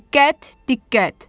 Diqqət, diqqət.